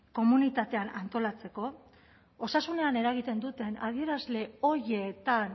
komunitatean antolatzeko osasunean eragiten duten adierazle horietan